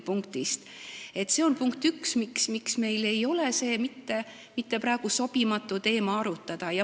See on see põhjus, miks meil ei ole praegu mitte sobimatu seda teemat arutada.